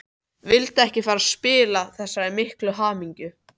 Vildi ekki fara að spilla þessari miklu hamingju.